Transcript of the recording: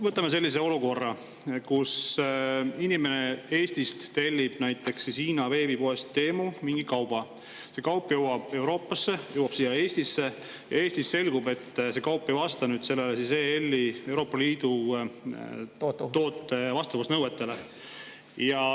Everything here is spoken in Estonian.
Võtame sellise olukorra, kus inimene Eestist tellib näiteks Hiina veebipoest Temu mingi kauba, see jõuab Euroopasse, jõuab siia Eestisse ja Eestis selgub, et see kaup ei vasta Euroopa Liidu tootenõuetele.